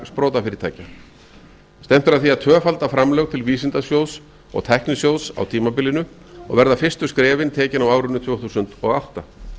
sprotafyrirtækja stefnt er að var að tvöfalda framlög til vísindasjóðs og tæknisjóðs á á tímabilinu og verða fyrstu skrefin tekin á árin tvö þúsund og átta